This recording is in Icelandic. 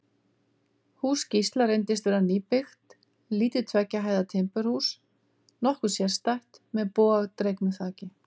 Hús Gísla reyndist vera nýbyggt, lítið tveggja hæða timburhús, nokkuð sérstætt, með bogadregnu þaki.